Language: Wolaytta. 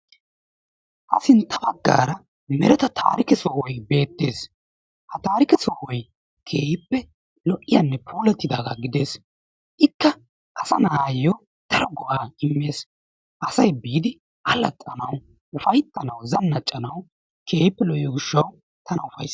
Ha sintta baggaara mereta taarikke sohoy beettees. Ha taarikke sohoy keehippe lo'iyanne puulatidaaga gedees, ikka asa na'ayo daro go'aa imees asay biidi uffaytanaw, allaxxanawu, zanaccanawu keehippe lo'iyo gishshawu tana ufayssees.